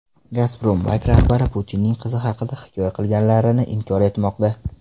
Gazprombank rahbari Putinning qizi haqida hikoya qilganlarini inkor etmoqda .